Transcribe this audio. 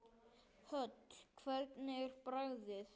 Hödd: Hvernig er bragðið?